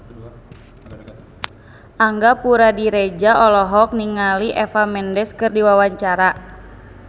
Angga Puradiredja olohok ningali Eva Mendes keur diwawancara